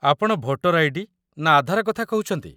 ଆପଣ voter ID. ନା ଆଧାର କଥା କହୁଛନ୍ତି?